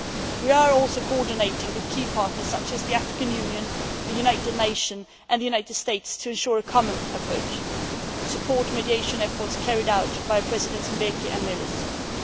We are also coordinating with key partners such as the African Union, the United Nations and the United States to ensure a common approach. We support mediation efforts carried out by President Mbeki and Prime Minister